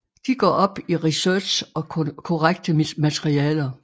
De går op i research og korrekte materialer